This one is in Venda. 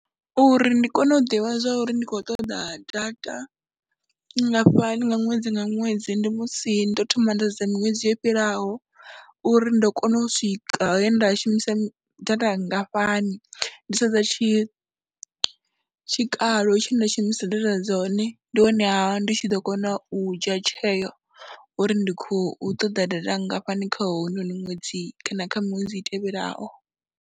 Uri ndi kone u ḓivha zwa uri ndi khou ṱoḓa data nngafhani nga ṅwedzi nga ṅwedzi ndi musi ndo thoma nda sedza miṅwedzi yo fhiraho uri ndo kona u swika he nda shumisa data nngafhani, ndi sedza tshi tshikalo tshe nda shumisa data dzone, ndi honeha ndi tshi ḓo kona u dzhia tsheo uri ndi khou ṱoḓa data nngafhani kha hounoni ṅwedzi kana kha miṅwedzi i tevhelaho.